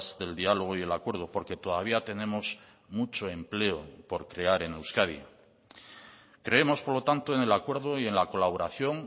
del diálogo y el acuerdo porque todavía tenemos mucho empleo por crear en euskadi creemos por lo tanto en el acuerdo y en la colaboración